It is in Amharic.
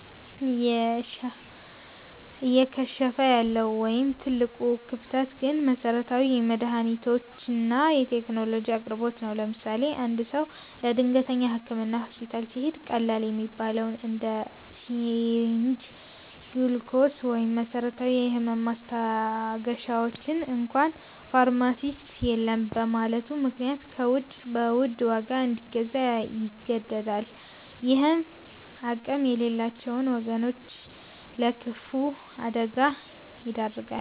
እየከሸፈ ያለው ወይም ትልቁ ክፍተት ግን የመሠረታዊ መድኃኒቶችና የቴክኖሎጂ አቅርቦት ነው። ለምሳሌ፦ አንድ ሰው ለድንገተኛ ሕክምና ሆስፒታል ሲሄድ፣ ቀላል የሚባሉትን እንደ ሲሪንጅ፣ ግሉኮስ ወይም መሰረታዊ የህመም ማስታገሻዎችን እንኳ ፋርማሲስት የለም በማለቱ ምክንያት ከውጭ በውድ ዋጋ እንዲገዛ ይገደዳል። ይህም አቅም የሌላቸውን ወገኖች ለከፋ አደጋ ይዳርጋል።